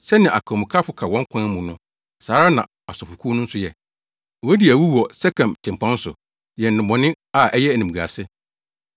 Sɛnea akwamukafo ka kwan mu no saa ara na asɔfokuw no nso yɛ; wodi awu wɔ Sekem tempɔn so, yɛ nnebɔne a ɛyɛ animguase.